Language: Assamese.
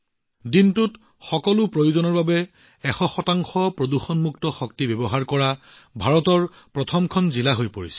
ডিউ ভাৰতৰ প্ৰথম খন জিলা হৈ পৰিছে যি সকলো দিনৰ প্ৰয়োজনীয়তাৰ বাবে ১০০ পৰিষ্কাৰ শক্তি ব্যৱহাৰ কৰি আছে